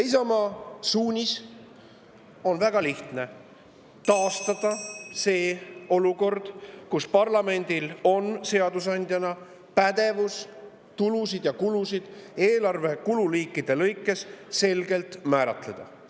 Isamaa suunis on väga lihtne: taastada see olukord, kus parlamendil on seadusandjana pädevus tulusid ja kulusid eelarve kululiikide lõikes selgelt määratleda.